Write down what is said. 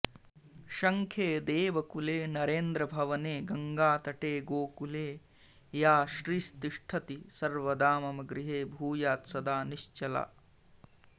शङ्खे देवकुले नरेन्द्रभवने गङ्गातटे गोकुले या श्रीस्तिष्ठति सर्वदा मम गृहे भूयात् सदा निश्चला